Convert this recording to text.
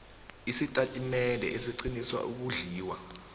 isitatimende esiqinisa ukondliwa